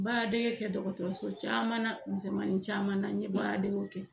Baaradege kɛ dɔgɔtɔrɔso caman misɛnmanin caman na n ɲɛ baaradegew kɛ